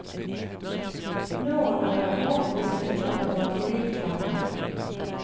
Nå er jeg ordentlig skuffet over politikerne.